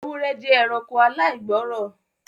Ewúrẹ́ jẹ́ ẹranko aláìgbọ́ọ́rọ̀